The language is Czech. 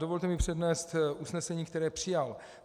Dovolte mi přednést usnesení, které přijal.